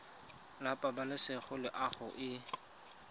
la pabalesego le loago e